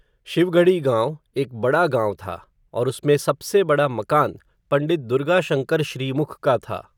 शिव गढ़ी गाँव, एक बड़ा गाँव था, और उसमें सबसे बड़ा मकान, पण्डित दुर्गाशङ्कर श्रीमुख का था